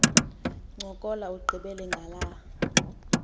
ncokola ugqibele ngala